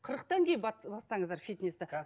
қырықтан кейін бастаңыздар фитнесті